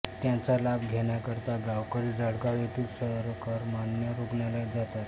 त्याचा लाभ घेण्याकरता गावकरी जळगाव येथील सरकारमान्य रुग्णालयात जातात